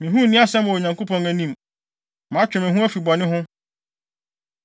Me ho nni asɛm wɔ Onyankopɔn anim; matwe me ho afi bɔne ho.